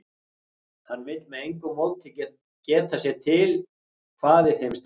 Hann vill með engu móti geta sér til hvað í þeim stendur.